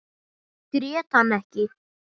Grét hann ekki.